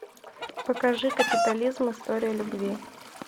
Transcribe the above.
покажи капитализм история любви